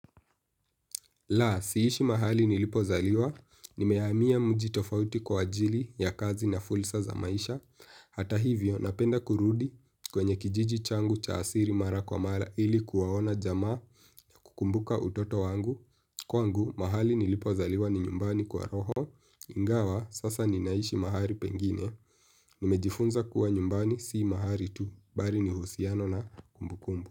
La, siishi mahali nilipozaliwa, nimehamia mji tofauti kwa ajili ya kazi na fursa za maisha, hata hivyo napenda kurudi kwenye kijiji changu cha asili mara kwa mara ili kuwaona jamaa kukumbuka utoto wangu, kwangu mahali nilipozaliwa ni nyumbani kwa roho, ingawa sasa ninaishi mahali pengine, nimejifunza kuwa nyumbani si mahali tu, bali ni uhusiano na kumbu kumbu.